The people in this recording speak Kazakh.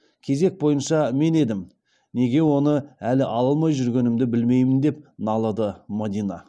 кезек бойынша мен едім неге оны әлі ала алмай жүргенімді білмеймін деп налыды мадина